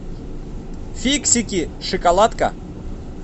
фиксики шоколадка